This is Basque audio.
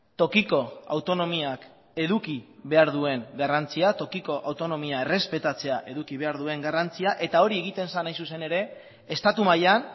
tokiko autonomiak eduki behar duen garrantzia tokiko autonomia errespetatzea eduki behar duen garrantzia eta hori egiten zen hain zuzen ere estatu mailan